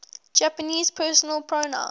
japanese personal pronouns